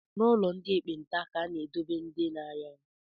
N’ụlọ ndi ekpenta ka a na-edebe ndị na-aya ekpenta